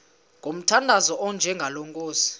ngomthandazo onjengalo nkosi